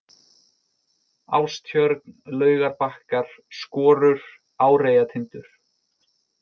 Ástjörn, Laugarbakkar, Skorur, Áreyjatindur